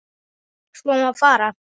svo má fara